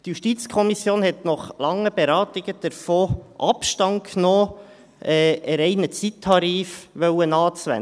Die JuKo hat nach langen Beratungen davon Abstand genommen, einen reinen Zeittarif anwenden zu wollen;